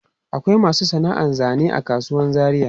Akwai masu sana'an zane a kasuwan Zaria.